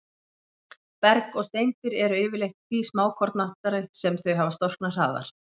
Berg og steindir eru yfirleitt því smákornóttari sem þau hafa storknað hraðar.